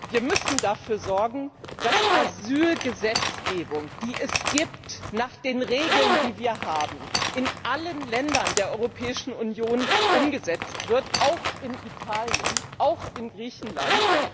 Wir müssen dafür sorgen, dass Asylgesetzgebung, die es gibt, nach den Regeln, die wir haben, in allen Ländern der Europäischen Union umgesetzt wird auch in Italien, auch in Griechenland.